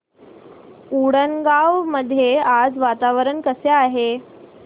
उंडणगांव मध्ये आज वातावरण कसे आहे